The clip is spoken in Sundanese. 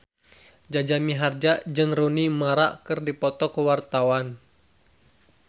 Jaja Mihardja jeung Rooney Mara keur dipoto ku wartawan